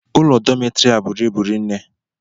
Ụlọ dọmetiri a bụrụ ịbụ rinne